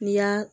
N'i y'a